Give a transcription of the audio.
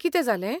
कितें जालें?